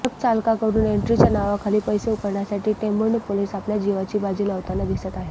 truck चालकाकडून एन्ट्रीच्या नावाखाली पैसे उकळण्यासाठी टेंभुर्णी पोलीस आपल्या जीवाची बाजी लावताना दिसत आहेत